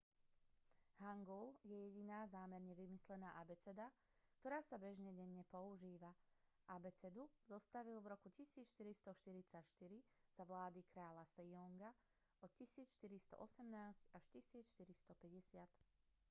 hangul je jediná zámerne vymyslená abeceda ktorá sa bežne denne používa. abecedu zostavili v roku 1444 za vlády kráľa sejonga 1418 – 1450